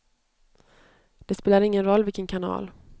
Det spelar ingen roll vilken kanal.